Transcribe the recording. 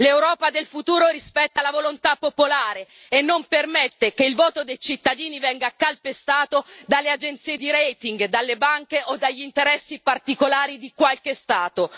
L'Europa del futuro rispetta la volontà popolare e non permette che il voto dei cittadini venga calpestato dalle agenzie di rating, dalle banche o dagli interessi particolari di qualche Stato.